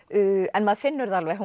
en maður finnur það alveg að